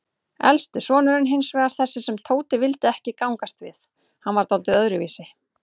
Elsti sonurinn hinsvegar, þessi sem Tóti vildi ekki gangast við, hann var dáldið öðruvísi.